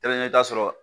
i bɛ taa sɔrɔ